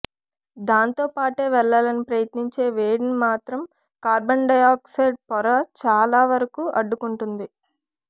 దాంతో పాటే వెళ్ళాలని ప్రయత్నించే వేడిని మాత్రం కార్బన్ డయాక్సైడ్ పొర చాలా వరకు అడ్డుకుంటుంది